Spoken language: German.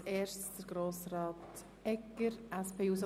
Als Erster hat Grossrat Egger das Wort.